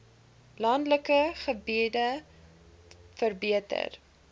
landelike gebiede verbeter